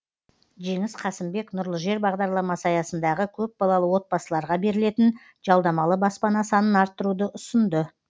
жеңіс қасымбек нұрлы жер бағдарламасы аясындағы көпбалалы отбасыларға берілетін жалдамалы баспана санын арттыруды ұсынды